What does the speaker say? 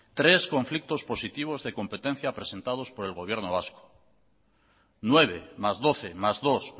tres conflictos positivos de competencia presentados por el gobierno vasco nueve más doce más dos